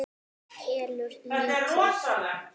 Kelur lítið.